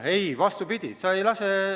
Ei, vastupidi!